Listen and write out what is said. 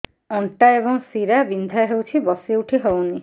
ଅଣ୍ଟା ଏବଂ ଶୀରା ବିନ୍ଧା ହେଉଛି ବସି ଉଠି ହଉନି